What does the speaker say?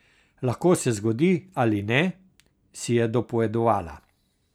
Lahko se zgodi ali ne, si je dopovedovala.